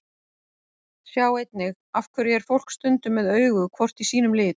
Sjá einnig: Af hverju er fólk stundum með augu hvort í sínum lit?